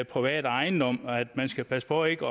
private ejendom man skal passe på ikke